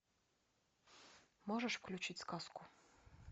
можешь включить сказку